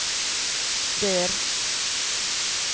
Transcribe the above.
dør